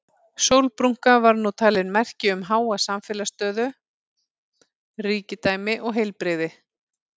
Sólbrúnka var nú talin merki um háa samfélagslega stöðu, ríkidæmi og heilbrigði.